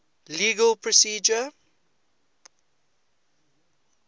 legal procedure